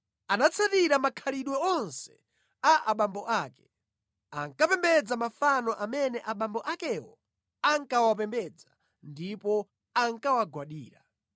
Anatsatira makhalidwe onse a abambo ake. Ankapembedza mafano amene abambo akewo ankawapembedza ndipo ankawagwadira.